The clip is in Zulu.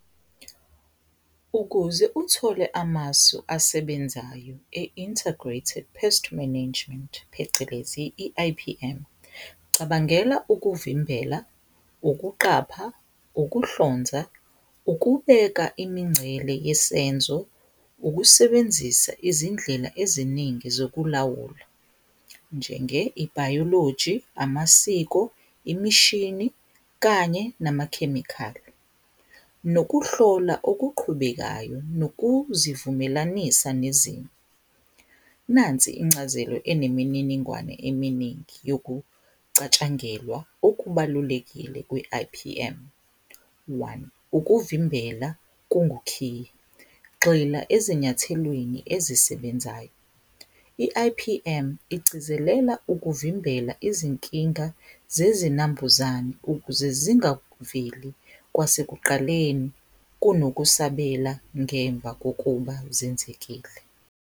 Ukuze uthole amasu asebenzayo e-Integrated Pest Management phecelezi i-I_P_M cabangela ukuvimbela, ukuqapha, ukuhlonza, ukubeka imincele yesenzo, ukusebenzisa izindlela eziningi zokulawula njenge ibhayoloji, amasiko, imishini kanye namakhemikhali, nokuhlola okuqhubekayo nokuzivumelanisa nezimo. Nansi incazelo enemininingwane eminingi yokucatshangelwa okubalulekile ku-I_P_M, one ukuvimbela kungukhiye, gxila ezinyathelweni ezisebenzayo, i-I_P_M igcizelela ukuvimbela izinkinga zezinambuzane ukuze zingaveli kwasekuqaleni kunokusabela ngemva kokuba zenzekile.